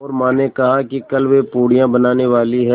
और माँ ने कहा है कि कल वे पूड़ियाँ बनाने वाली हैं